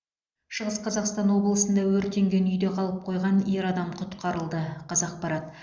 шығыс қазақстан облысында өртенген үйде қалып қойған ер адам құтқарылды қазақпарат